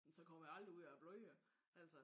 Men så kommer det aldrig ud af blodet altså